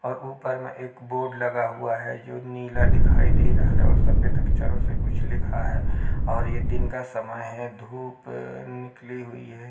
और ऊपर मे एक बोर्ड लगा हुआ है जो नीला दिखाई दे रहा है और सफेद अक्षरों से कुछ लिखा है और यह दिन का समय है। धूप निकली हुई है।